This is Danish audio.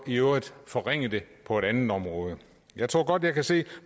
i øvrigt forringe dem på et andet område jeg tror godt jeg kan se